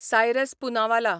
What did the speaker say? Cyrus Poonawalla